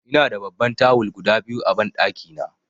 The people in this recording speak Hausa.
Ina da babban tawul guda biyu a banɗaki na.